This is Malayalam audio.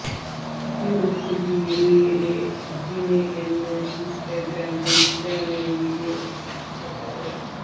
ഡ്യൂക്ക് ദി റിയല് ജിന് എന്ന് ഇന്സ്റ്റഗ്രാം പേജിലാണ് വീഡിയോ പ്രത്യക്ഷപ്പെട്ടത്